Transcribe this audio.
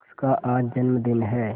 शख्स का आज जन्मदिन है